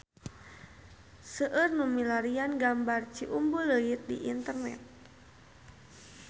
Seueur nu milarian gambar Ciumbuleuit di internet